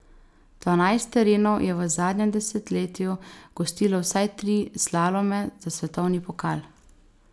Dvanajst terenov je v zadnjem desetletju gostilo vsaj tri slalome za svetovni pokal.